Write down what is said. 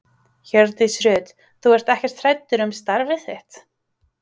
Hjördís Rut: Þú ert ekkert hræddur um starfið þitt?